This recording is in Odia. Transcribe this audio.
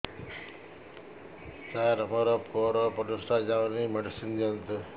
ସାର ମୋର ପୁଅର ପରିସ୍ରା ଯାଉନି ମେଡିସିନ ଦିଅନ୍ତୁ